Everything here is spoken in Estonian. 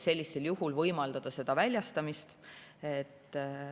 Sellisel juhul saab võimaldada ravim väljastada.